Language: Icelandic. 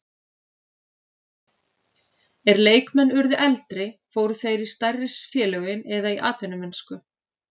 Er leikmenn urðu eldri fóru þeir í stærri félögin eða í atvinnumennsku.